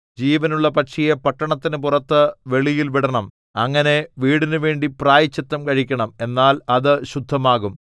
ജീവനുള്ള പക്ഷിയെ പട്ടണത്തിന് പുറത്ത് വെളിയിൽ വിടണം അങ്ങനെ വീടിനുവേണ്ടി പ്രായശ്ചിത്തം കഴിക്കണം എന്നാൽ അത് ശുദ്ധമാകും